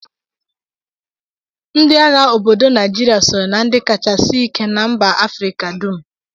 Ndị agha obodo Naijiria sonyere na ndị kacha sie ike na mba Afrịka dum